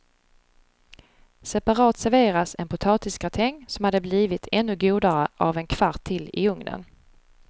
Separat serveras en potatisgratäng som hade blivit ännu godare av en kvart till i ugnen.